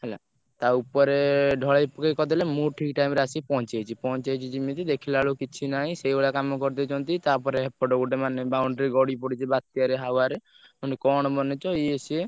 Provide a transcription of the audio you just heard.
ହେଲା ତା ଉପରେ ଢଳେଇ କରିଦେଲେ ମୁଁ ଠିକ୍ time ରେ ଆସି ପହଞ୍ଚି ଯାଇଛି ପହଞ୍ଚି ଯାଇଛି ଯେମିତି ଦେଖିଲା ବେଳକୁ କିଛି ନାହିଁ ସେଇଭଳିଆ କାମ କରିଦେଇଛନ୍ତି ତାପରେ ଏପଟେ ଗୋଟେ ମାନେ boundary ଗଡି ପଡ଼ିଛି ମାନେ ବାତ୍ୟା ରେ हवा ରେ ମାନେ କଣ ବନେଇଛ ଇଏ ସିଏ।